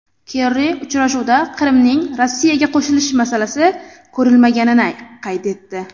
Kerri uchrashuvda Qrimning Rossiyaga qo‘shilishi masalasi ko‘rilmaganini qayd etdi.